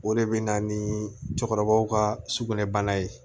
O de bɛ na ni cɛkɔrɔbaw ka sugunɛ bana ye